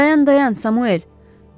Dayan, dayan, Samuel.